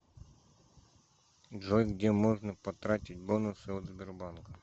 джой где можно потратить бонусы от сбербанка